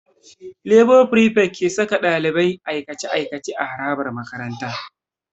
Lebo frifet ke saka ɗalibai aikace-aikace a harabar makaranta.